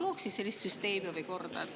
Looks siis sellise süsteemi või korra.